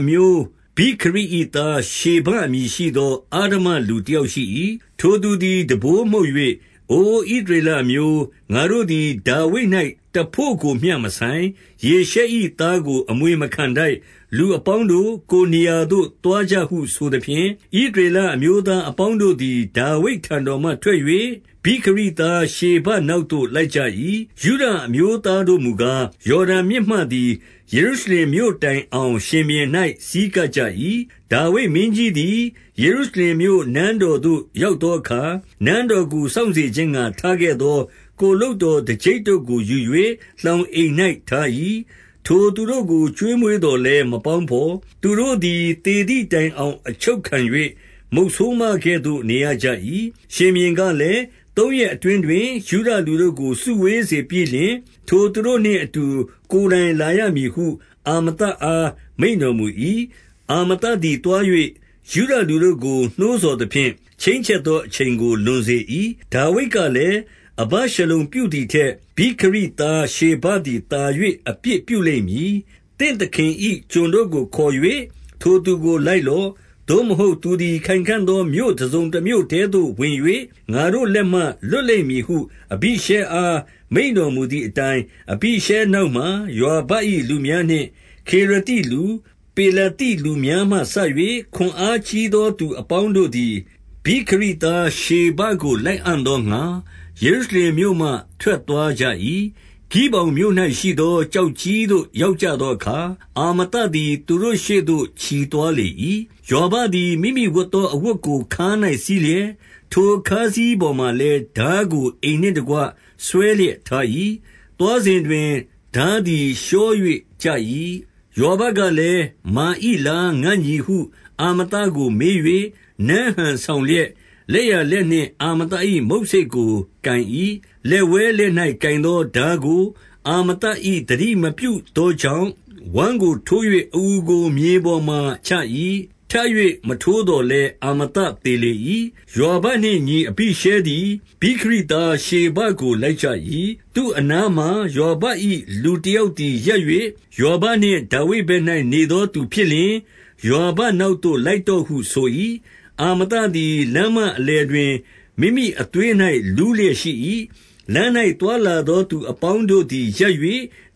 အမျိုးဗိခရိ၏သားရှေဘ အမည်ရှိသော အဓမ္မလူတယောက်ရှိ၏။ ထိုသူသည် တံပိုးမှုတ်၍၊ အိုဣသရေလအမျိုး၊ ငါတို့သည် ဒါဝိဒ်၌ တဘို့ကိုမျှ မဆိုင်။ ယေရှဲ၏သားကို အမွေမခံထိုက်။ လူအပေါင်းတို့၊ ကိုယ်နေရာသို့ သွားကြဟုဆိုသဖြင့်၊ ဣသရေလ အမျိုးသားအပေါင်းတို့သည် ဒါဝိဒ်ထံတော်မှ ထွက်၍ဗိခရိသား ရှေဘနောက်သို့ လိုက်ကြ ၏။ ယုဒအမျိုးသားတို့မူကား၊ ယော်ဒန်မြစ်မှသည် ယေရုရှလင်မြို့တိုင်အောင် ရှင်ဘုရင်၌ ဆည်းကပ်ကြ၏။ ဒါဝိဒ်မင်းကြီးသည် ယေရုရှလင်မြို့ နန်းတော်သို့ ရောက်သောအခါ၊ နန်းတော်ကို စောင့်စေခြင်းငှါ ထားခဲ့ သော ကိုယ်လုပ်တော်တကျိပ်တို့ကိုယူ၍ လှောင်အိမ်၌ ထား၏။ ထိုသူတို့ကို ကျွေးမွေးသော်လည်း မပေါင်းဘော်။ သူတို့သည် သေသည်တိုင်အောင် အချုပ်ခံ၍ မုတ်ဆိုးမ ကဲ့သို့ နေရကြ၏။ ရှင်ဘုရင်ကလည်း၊ သုံးရက်အတွင်းတွင် ယုဒလူတို့ကို စုဝေးစေပြီးလျှင်၊ ထိုသူတို့နှင့်အတူ ကိုယ်တိုင် လာရမည်ဟု အာမသအား မိန့်တော်မူ၏။ အာမသသည်သွား၍ ယုဒလူတို့ကို နှိုးဆော်သဖြင့်၊ ချိန်းချက်သောအချိန်ကို လွန်စေ၏။ ဒါဝိဒ်ကလည်း၊ အဗရှလုံပြုသည်ထက် ဗိခရိသားရှေဘသည်သာ၍ အပြစ်ပြုလိမ့်မည်။ သင့်သခင်၏ ကျွန်တို့ကိုခေါ်၍ ထိုသူကိုလိုက်လော့။ သို့မဟုတ်သူသည် ခိုင်ခံ့သောမြို့တစုံတမြို့ထဲသို့ ဝင်၍ ငါတို့ လက်မှ လွတ်လိမ့်မည်ဟု အဘိရှဲအား မိန့်တော်မူသည်အတိုင်း၊ အဘိရှဲနောက်မှာ ယွာဘ၏လူများနှင့်ခေရသိ လူ၊ ပေလသိလူများမှစ၍ ခွန်အားကြီးသောသူအပေါင်း တို့သည် ဗိခရိသားရှေဘကို လိုက်အံ့သောငှါ ယေရုရှလင် မြို့မှထွက်သွားကြ၏။ ဂိဗောင်မြို့၌ရှိသော ကျောက်ကြီးသို့ ရောက်ကြသောအခါ၊ အာမသသည်သူတို့ ရှေ့သို့ချီသွားလေ၏။ ယွာဘသည် မိမိဝတ်သော အဝတ်ကို ခါး၌စည်းလျက်၊ ထိုခါးစည်းပေါ်မှာလည်း ထားကိုအိမ်နှင့်တကွ ဆွဲလျက် ထား၏။ သွားစဉ်တွင်ထားသည် လျှော၍ကျ၏။ ယွာဘကလည်း၊ မာ၏လားငါ့ညီဟု အာမသကို မေး၍ နမ်းဟန်ဆောင်လျက် လက်ျာလက်နှင့် အာမသ ၏မုတ်ဆိတ်ကို ကိုင်၏။ လက်ဝဲလက်၌ကိုင်သောထားကို အာမသသည်သတိမပြုသောကြောင့်၊ ဝမ်းကိုထိုး၍ အအူကိုမြေပေါ်မှာ ချ၏။ ထပ်၍ မထိုးသော်လည်း အာမသသေလေ၏။ ယွာဘနှင့်ညီအဘိရှဲသည် ဗိခရိသား ရှေဘကို လိုက် ကြ၏။ သူအနားမှာ ယွာဘ၏ လူတယောက်သည် ရပ်၍ ယွာဘနှင့် ဒါဝိဒ်ဘက်၌နေသောသူဖြစ်လျှင် ယွာဘနောက်သို့ လိုက်တော့ဟုဆို၏။ အာမသသည် လမ်းမအလယ်တွင် မိမိအသွေး ၌ လူးလျက်ရှိ၏။ လမ်း၌ သွားလာသောသူအပေါင်းတို့ သည် ရပ်၍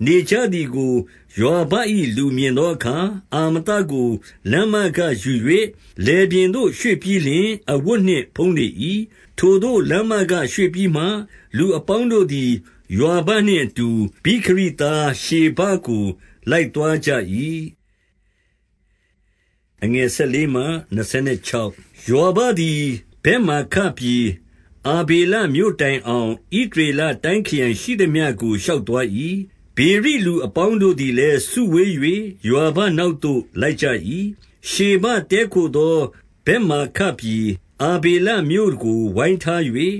နေကြသည်ကို ယွာဘ၏ လူမြင်သောအခါ၊ အာမသကို လမ်းမကယူ၍ လယ်ပြင်သို့ ရွှေ့ပြီးလျှင် အဝတ်နှင့်ဖုံးလေ၏။ ထိုသို့လမ်းမကရွေ့ပြီးမှ၊ လူအပေါင်းတို့သည် ယွာလနှင့်အတူ ဗိခရိသားရှေဘကို လိုက်သွားကြ၏။ ယွာဘသည် ဗက်မာခပြည်၊ အာဗေလမြို့ တိုင်အောင် ဣသရေလတိုင်းခရိုင်ရှိသမျှကို ရှောက်သွား ၏။ ဗေရိလူအပေါင်းတို့သည်လည်း စုဝေး၍ ယွာဘ နောက်သို့ လိုက်ကြ၏။ ရှေဘတည်းခိုသောဗက်မာခပြည်၊ အာဗေလမြို့ ကို ဝိုင်းထား၍၊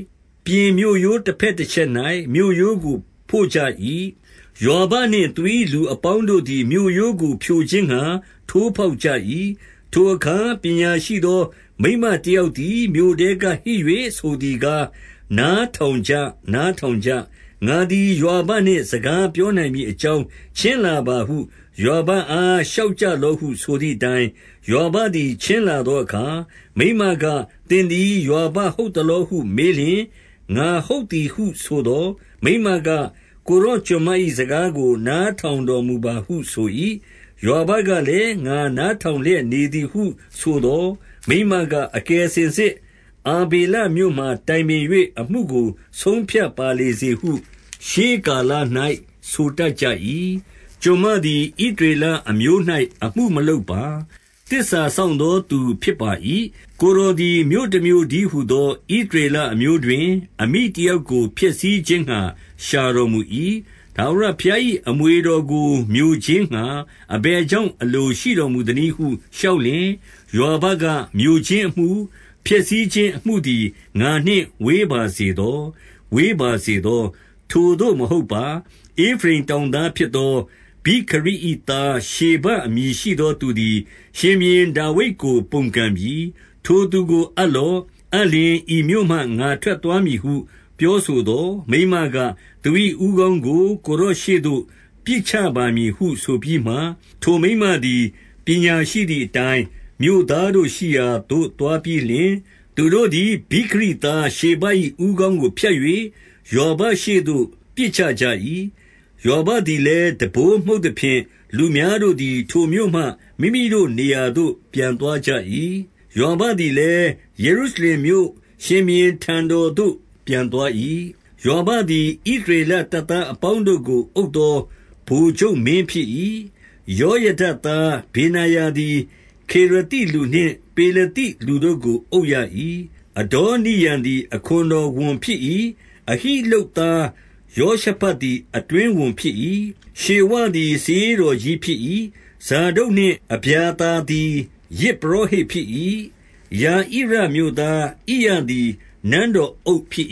ပြင်မြို့ရိုးတဘက်တချက်၌ မြေရိုးကို ဖို့ကြ၏။ ယွာဘနှင့်သူ၏ လူအပေါင်းတို့သည် မြို့ရိုးကို ဖြိုခြင်းငှါ ထိုးဖေါက်ကြ၏။ ထိုအခါပညာရှိသော မိန်းမတယောက်သည် မြို့ထဲကဟစ်၍ ဆိုသည်ကား၊ နားထောင်ကြ၊ နားထောင်ကြ၊ ငါသည်ယွာဘနှင့် စကားပြောနိုင်မည်အကြောင်း ချဉ်းလာပါဟု ယွာဘအားလျှောက်ကြလော့ ဟုဆိုသည်အတိုင်း၊ ယွာဘသည် ချဉ်းလာသောအခါ မိန်းမက၊ သင်သည်ယွာဘဟုတ်သလောဟုမေးလျှင်၊ ငါဟုတ်သည် ဟုဆိုသော်၊ မိန်းမက၊ ကိုယ်တော်ကျွန်မ၏ စကားကို နားထောင်တော်မူပါဟုဆို၏။ ယွာဘကလည်း၊ ငါနား ထောင်လျက် နေသည်ဟု ဆိုသော်၊ မိန်းမက၊ အကယ်စငင်စစ် အာဗေလမြို့မှာ တိုင်ပင်၍ အမှုကို ဆုံးဖြတ်ပါလေစေဟု ရှေးကာလ၌ ဆိုတတ်ကြ၏။ ကျွန်မသည် ဣသရေလအမျိုး၌ အမှုမလုပ်ပါ။ သစ္စာစောင့်သောသူဖြစ်ပါ၏။ကိုယ်တော်သည် မြို့တမြို့ တည်းဟူသော ဣသရေလအမျိုးတွင် အမိတယောက်ကို ဖျက်ဆီးခြင်းငှါ ရှာတော်မူ၏။ ထာဝရဘုရား၏ အမွေ တော်ကို မျိုခြင်းငှါ အဘယ်ကြောင့် အလိုရှိတော်မူ သနည်းဟု လျှောက်လျှင်၊ ယွာဘက၊ မျိုခြင်းအမှု၊ ဖျက်ဆီးခြင်းအမှုသည် ငါနှင့် ဝေးပါစေသော။ ဝေးပါစေသော။ ထိုသို့မဟုတ်ပါ။ ဧဖရိမ်တောင်သားဖြစ်သော ဗိခရိ၏သား ရှေဘအမည်ရှိသော သူသည် ရှင်ဘုရင် ဒါဝိဒ်ကို ပုန်ကန်ပြီ။ ထိုသူကို အပ်လော့။ အပ်လျှင် ဤမြို့ မှ ငါထွက်သွားမည်ဟု ပြောဆိုသော်၊ မိန်းမက၊ သူ၏ ဦးခေါင်းကိုကိုယ်တော်ရှေ့သို့ ပစ်ချပါမည်ဟု ဆိုပြီးမှ၊ ထိုမိန်းမသည် ပညာရှိသည်အတိုင်း မြို့သားတို့ရှိရာသို့ သွားပြီးလျှင်၊ သူတို့သည် ဗိခရိသားရှေဘ၏ ဦးခေါင်းကို ဖြတ်၍ ယွာဘရှေ့သို့ ပစ်ချကြ၏။ ယွာဘသည်လည်း တံပိုးမှုတ်သဖြင့်၊ လူများတို့သည် ထိုမြို့မှ မိမိတို့ နေရာသို့ ပြန်သွားကြ၏။ ယွာဘသည်လည်း ယေရုရှလင်မြို့၊ ရှင်ဘုရင်ထံတော်သို့ ပြန်သွား၏။ ယွာဘသည် ဣသရေလတပ်သားအပေါင်းတို့ကိုအုပ်သော ဗိုလ်ချုပ်မင်းဖြစ်၏။ ယောယဒသား ဗေနာယသည် ခေရသိလူနှင့် ပေလသိလူတို့ကို အုပ်ရ၏။ အဒေါနိရံသည် အခွန်တော်ဝန်ဖြစ်၏။ အဟိ လုပ်သားယော ရှဖတ်သည် အတွင်းဝန်ဖြစ်၏။ ရှေဝသည် စာရေးတော်ကြီးဖြစ်၏။ ဇာဒုတ်နှင့် အဗျာသာသည် ယဇ်ပုရောဟိတ်ဖြစ်၏။ ယဣရမြို့သား ဣရသည်နန်းတော်အုပ်ဖြစ်